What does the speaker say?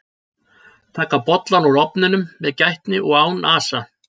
Taka bollann úr ofninum með gætni og án asa.